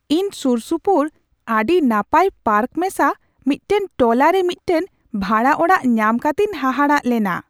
ᱤᱧ ᱥᱩᱨᱥᱩᱯᱩᱨ ᱟᱹᱰᱤ ᱱᱟᱯᱟᱭ ᱯᱟᱨᱠ ᱢᱮᱥᱟ ᱢᱤᱫᱴᱟᱝ ᱴᱚᱞᱟᱨᱮ ᱢᱤᱫᱴᱟᱝ ᱵᱷᱟᱲᱟ ᱚᱲᱟᱜ ᱧᱟᱢ ᱠᱟᱛᱤᱧ ᱦᱟᱦᱟᱲᱟᱜ ᱞᱮᱱᱟ ᱾